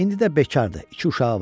İndi də bekardır, iki uşağı var.